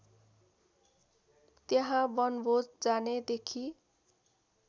त्यहाँ वनभोज जानेदेखि